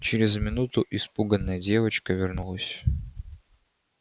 через минуту испуганная девочка вернулась